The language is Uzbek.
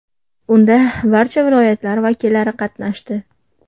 Unda barcha viloyatlar vakillari qatnashdi.